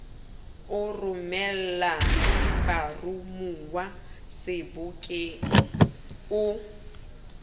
o romelang baromuwa sebokeng o